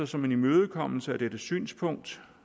som en imødekommelse af dette synspunkt